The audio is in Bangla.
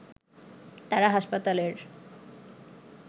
তারা হাসপাতালের